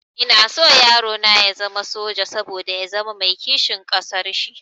Ina son yarona ya zama soja, saboda ya zama mai kishin ƙasar shi